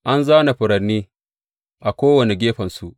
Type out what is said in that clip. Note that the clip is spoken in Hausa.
An zāna furanni a kowane gefensu.